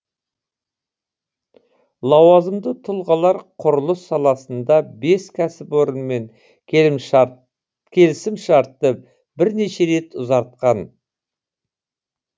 лауазымды тұлғалар құрылыс саласында бес кәсіпорынмен келісімшартты бірнеше рет ұзартқан